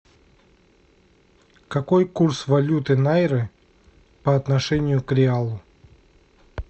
какой курс валюты найры по отношению к реалу